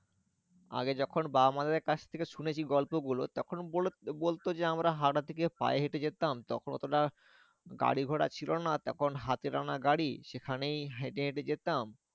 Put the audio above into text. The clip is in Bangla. আগে যখন বাবা মা দের কাছ থেকে শুনেছি গল্পগুলো তখন বলতো যে আমরা হাওয়া থেকে পায়ে হেঁটে যেতাম তখন অতা গাড়ি ঘোড়া ছিল না। তখন হাতে টানা গাড়ি সেখানেই হেঁটে হেঁটে যেতাম।